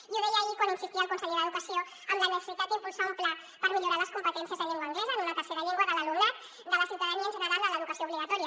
i ho deia ahir quan insistia el conseller d’educació en la necessitat d’impulsar un pla per millorar les competències en llengua anglesa en una tercera llengua de l’alumnat de la ciutadania en general en l’educació obligatòria